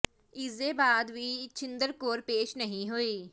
ਇਸ ਦੇ ਬਾਅਦ ਵੀ ਛਿੰਦਰ ਕੌਰ ਪੇਸ਼ ਨਹੀਂ ਹੋਈ